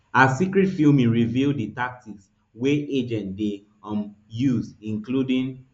our secret filming reveal di tactics wey agents dey um use including